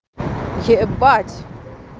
ебать